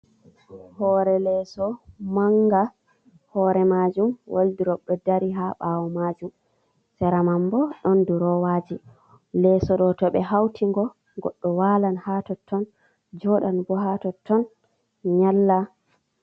Hore leso manga hore majum waldirob ɗo dari ha ɓawo majum, sera man bo ɗon durowaji, leso ɗo to ɓe hauti go goɗɗo walan ha totton, joɗan bo ha totton nyalla.